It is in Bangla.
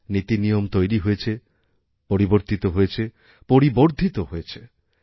নীতিনিয়ম তৈরি হয়েছে পরিবর্তিতহয়েছে পরিবর্ধিত হয়েছে